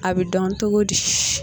A bɛ dɔn cogo di